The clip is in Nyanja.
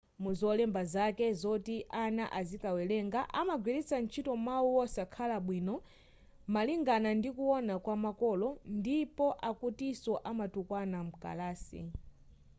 muzolemba zake zoti ana azikawerenga amagwiritsa ntchito mawu wosakhala bwino malingana ndikuwona kwa makolo ndipo akutiso amatukwana mkalasi